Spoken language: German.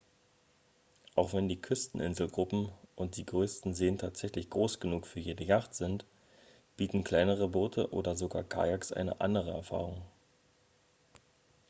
auch wenn die küsten-inselgruppen und die größten seen tatsächlich groß genug für jede jacht sind bieten kleinere boote oder sogar kayaks eine andere erfahrung